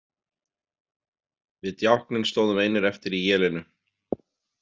Við Djákninn stóðum einir eftir í élinu.